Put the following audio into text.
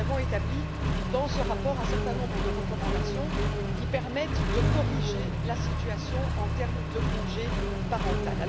Mais nous avons établi dans ce rapport un certain nombre de recommandations qui permettent de corriger la situation en termes de congé parental.